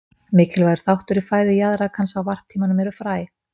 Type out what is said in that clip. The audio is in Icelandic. Mikilvægur þáttur í fæðu jaðrakans á varptímanum eru fræ.